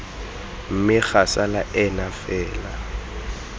mme ga sala ena fela